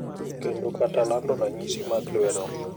kendo kata lando ranyisi mag lwedo.